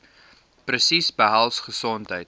presies behels gesondheid